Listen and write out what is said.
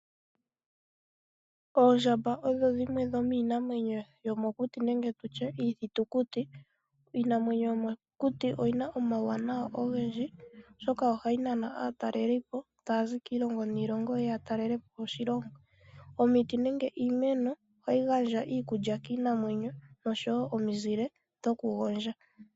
Oondjamba odho dhimwe dhomiinamwenyo yomokuti nenge tutye iithitukuti. Iinamwenyo yomokuti oyi na omauwanawa ogendji oshoka ohayi nana aatalelipo taya zi kiilongo niilongo ya talelepo oshilongo. Omiti nenge iimeno ohayi gandja iikulya kiinamwenyo noshowo omizile dhoku gondja.